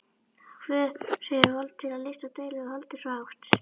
Hver hefur vald til að lyfta dauðlegu holdi svo hátt?